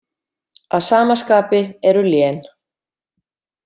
Að sama skapi eru lén.